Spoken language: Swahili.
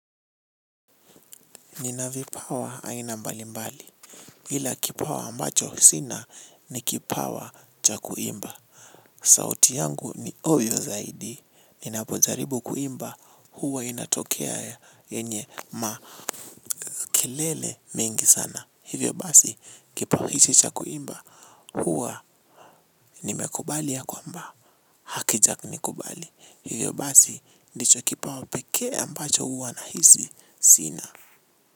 Ninavipawa haina mbali mbali. Hila kipawa ambacho sina ni kipawa cha kuimba. Sauti yangu ni ovyo zaidi. Ninapojaribu kuimba huwa inatokea ya yenye makelele mengi sana. Hivyo basi kipawa hichi cha kuimba huwa nimekubali ya kwamba hakija ni kubali. Hivyo basi ndicho kipawa pekee ambacho huwa na hisi sina. Muzika.